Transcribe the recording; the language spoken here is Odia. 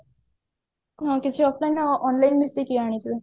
ମୁଁ କିଛି online offline ମିଶେଇକି ଆଣିଛି